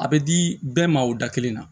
A bɛ di bɛɛ ma o da kelen na